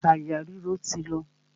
Àyà ríro ti lọ.